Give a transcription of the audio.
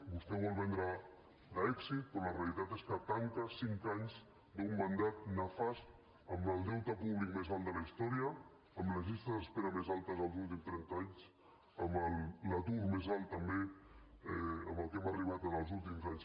vostè ho vol vendre com a èxit però la realitat és que tanca cinc anys d’un mandat nefast amb el deute públic més alt de la història amb les llistes d’espera més altes dels últims trenta anys amb l’atur més alt també a què hem arribat els últims anys